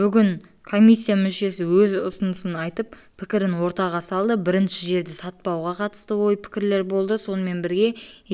бүгін комиссия мүшесі өз ұсынысын айтып пікірін ортаға салды бірінші жерді сатпауға қатысты ой-пікірлер болды сонымен бірге